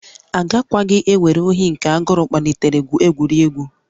Agakwaghị ewere ohi nke agụụ kpalitere gwurie egwu